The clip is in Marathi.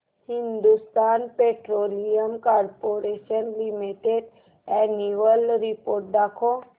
Hindustan petroleum corporation limited annual report दाखव